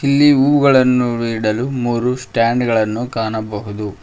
ಇಲ್ಲಿ ಹೂವುಗಳನ್ನು ಇಡಲು ಮೂರು ಸ್ಟಾಂಡ್ ಗಳನ್ನು ಕಾಣಬಹುದು.